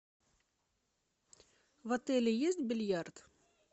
в отеле есть бильярд